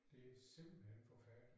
Det simpelthen forfærdeligt